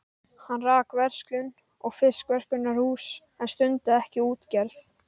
Hann rak verslun og fiskverkunarhús en stundaði ekki útgerð.